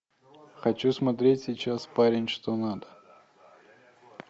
хочу смотреть сейчас парень что надо